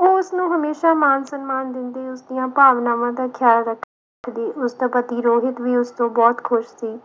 ਉਹ ਉਸਨੂੰ ਹਮੇਸ਼ਾ ਮਾਨ ਸਨਮਾਨ ਦਿੰਦੇ ਉਸਦੀਆਂ ਭਾਵਨਾਵਾਂ ਦਾ ਖਿਆਲ ਰੱਖਦੇ ਉਸਦਾ ਪਤੀ ਰੋਹਿਤ ਵੀ ਉਸ ਤੋਂ ਬਹੁਤ ਖੁਸ਼ ਸੀ